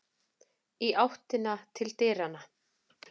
Í áttina til dyranna.